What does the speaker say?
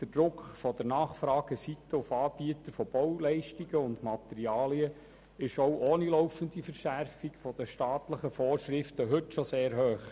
Der Druck von der Nachfrageseite auf Anbieter von Bauleistungen und Materialien ist auch ohne laufende Verschärfung der staatlichen Vorschriften schon heute sehr hoch.